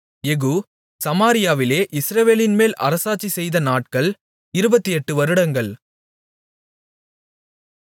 யெகூ சமாரியாவிலே இஸ்ரவேலின்மேல் அரசாட்சிசெய்த நாட்கள் இருபத்தெட்டு வருடங்கள்